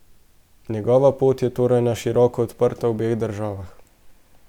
Njegova pot je torej na široko odprta v obeh državah.